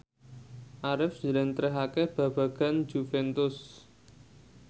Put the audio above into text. Arif njlentrehake babagan Juventus